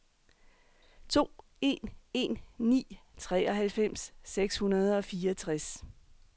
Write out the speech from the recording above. to en en ni treoghalvfems seks hundrede og fireogtres